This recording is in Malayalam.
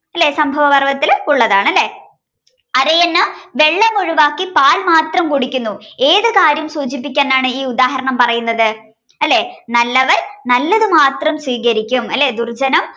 ലേ സംഭവപർവ്വത്തിലുള്ളതാണ് ലേ അരയന്നം വെള്ളമൊഴിവാക്കി പാല് മാത്രം കുടിക്കുന്നു ഏത് കാര്യം സൂചിപ്പിക്കാനാണ് ഈ ഉദാഹരണം പറയുന്നത് അല്ലേ നല്ലവർ നല്ലത് മാത്രം സ്വീകരിക്കും ദുർജ്ജനം